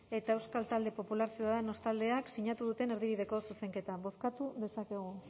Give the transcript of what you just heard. eta euskal talde popular ciudadanos taldeak sinatu duten erdibideko zuzenketa bozkatu dezakegu